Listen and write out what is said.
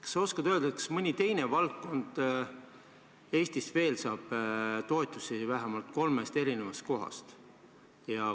Kas sa oskad öelda, kas mõni teine valdkond Eestis veel saab toetusi vähemalt kolmest kohast?